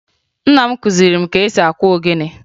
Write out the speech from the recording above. Nna m kụziri m ka esi akụ ogene